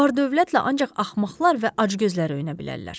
Vardövlətlə ancaq axmaqlar və acgözlər öyünə bilərlər.